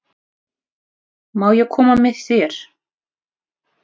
Má ég koma með þér?